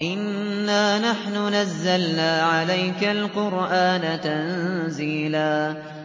إِنَّا نَحْنُ نَزَّلْنَا عَلَيْكَ الْقُرْآنَ تَنزِيلًا